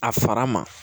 A fara ma